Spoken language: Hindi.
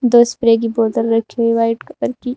दो स्प्रे की बोतल रखी हुई व्हाइट कलर की।